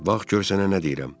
Bax gör sənə nə deyirəm.